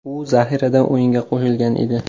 U zaxiradan o‘yinga qo‘shilgan edi.